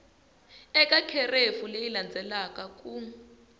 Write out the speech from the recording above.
eka kherefu leyi landzelaka ku